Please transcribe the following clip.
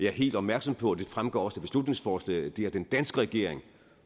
er helt opmærksom på det fremgår også af beslutningsforslaget at den danske regering